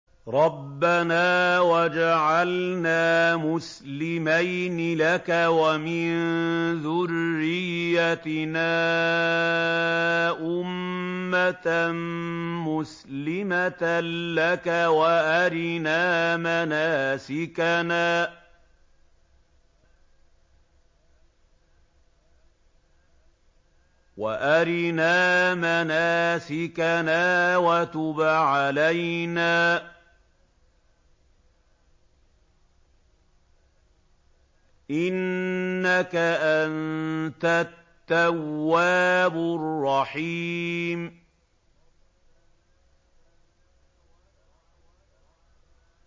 رَبَّنَا وَاجْعَلْنَا مُسْلِمَيْنِ لَكَ وَمِن ذُرِّيَّتِنَا أُمَّةً مُّسْلِمَةً لَّكَ وَأَرِنَا مَنَاسِكَنَا وَتُبْ عَلَيْنَا ۖ إِنَّكَ أَنتَ التَّوَّابُ الرَّحِيمُ